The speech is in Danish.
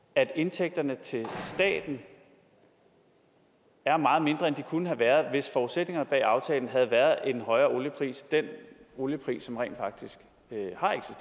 at indtægterne til staten er meget mindre end de kunne have været hvis forudsætningerne bag aftalen havde været en højere oliepris altså den oliepris som rent faktisk